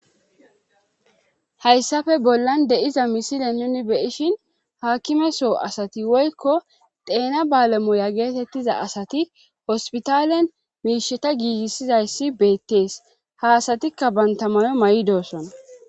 Hayssafe bollan de7iza misile nuni beishin haakkimeso asati woykko deena baalemoya geetettiza asati hospitaalen miisheta giigissizayssi beettees haasatikka bantamano may7idoossona